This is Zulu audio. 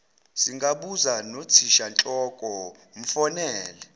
singabuza nothishanhloko mfonele